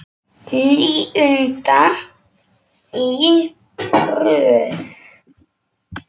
Níunda í röð!